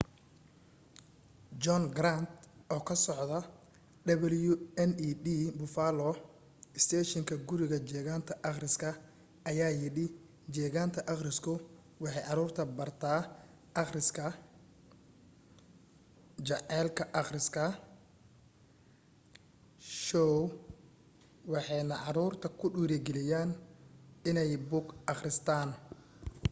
john grant oo ka soda wned buffalo isteeshinka guriga jeegaanta akhriska ayaa yidhi jeegaanta akhrisku waxay caruurta bartay akhriska,... jacaylka akhriska — [shoow] waxaanay caruurta ku dhiirigeliyeen inay buug akhristaan